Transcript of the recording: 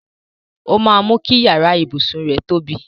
Ó máa mú kí iyàrá ibùsùn rẹ tóbi.